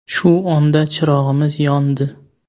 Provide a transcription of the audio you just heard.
Shu onda chirog‘imiz yondi.